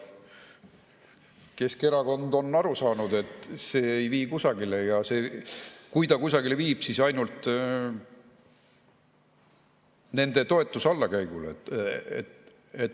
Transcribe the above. Keskerakond on aru saanud, et see ei vii kusagile, ja kui ta kusagile viib, siis ainult nende toetuse allakäigule.